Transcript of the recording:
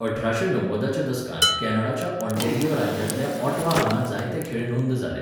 अठराशें णव्वदाच्या दसकांत कॅनडाच्या ऑंटॅरिओ राज्यांतल्या ऑटवा हांगा जायते खेळ नोंद जाले.